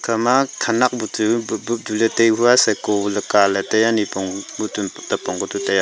pa ma thanak petu bo bo tule taikua siko lika le taiaa nipong pitu tapong ku tu taiaa.